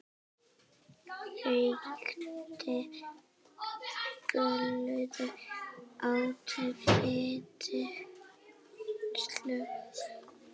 Reykti glöð, át fitug slög.